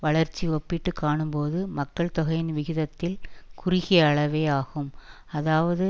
வளர்ச்சி ஒப்பிட்டுகாணும்போது மக்கட்தொகையின் விகிதத்தில் குறுகிய அளவே ஆகும் அதாவது